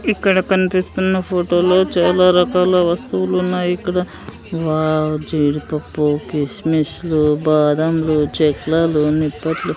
ఇక్కడ కన్పిస్తున్న ఫోటో లో చాలా రకాల వస్తువులున్నాయి ఇక్కడ వావ్ జీడీ పప్పు కిస్మిస్ లు బాదం లు చెక్లిలాలు నిప్పట్లు--